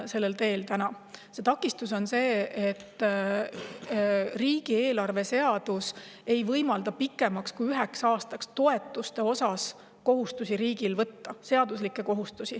Sellel teel on täna üks takistus: riigieelarve seadus ei võimalda riigil võtta kohustusi toetuste puhul pikemaks ajaks kui üheks aastaks.